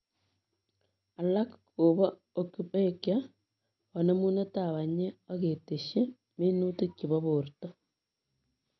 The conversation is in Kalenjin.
Alaak kopoo ocupucture ,kanemuneetap panyeek ak keteshii minutik chepo porto,